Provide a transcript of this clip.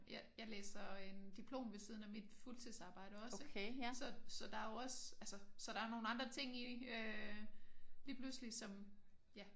Jeg jeg læser en diplom ved siden af mit fuldtidsarbejde også ik? Så så der er jo også der er nogle andre ting i det lige pludselig som ja